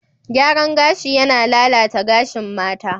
Gyaran gashi yana lalata gashin mata.